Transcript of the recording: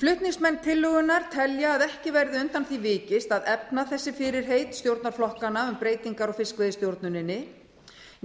flutningsmenn tillögunnar telja að ekki verði undan því vikist að efna þessi fyrirheit stjórnarflokkanna um breytingar á fiskveiðistjórninni